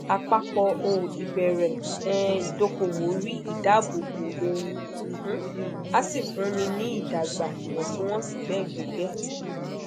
apapọ ow ibere um idokowo ri idabobo ohun um a si funni ni idagba iwọntunwọnsi be gege